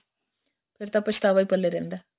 ਫ਼ੇਰ ਤਾਂ ਪਛਤਾਵਾ ਹੀ ਪੱਲੇ ਰਹਿੰਦਾ